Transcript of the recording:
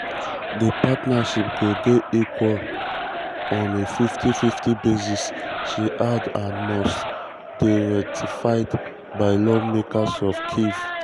di partnership go dey equal on equal on a 50:50 basis she add and must dey ratified by lawmakers for kyiv.